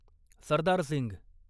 Sardar Singh